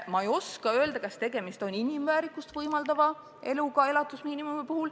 Kas elatusmiinimum tagab inimväärikust võimaldava elu?